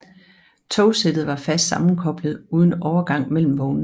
Togsættet var fast sammenkoblet uden overgang mellem vognene